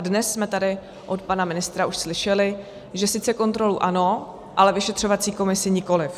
A dnes jsme tady od pana ministra už slyšeli, že sice kontrolu ano, ale vyšetřovací komisi nikoliv.